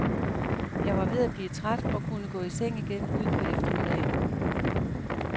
Jeg var ved at blive træt og kunne gå i seng igen ud på eftermiddagen.